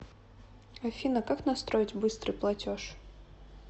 афина как настроить быстрый платеж